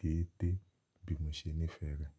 gẹ́ẹ́tẹ́ bí mo ṣe nífẹ̀ẹ́ rẹ̀.